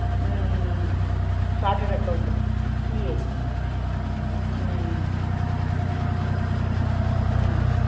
உம் உம் உம் chartered account CA உம் உம் உம்